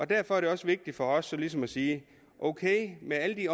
derfor er det også vigtigt for os ligesom at sige ok med alle de